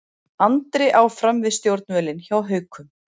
Andri áfram við stjórnvölinn hjá Haukum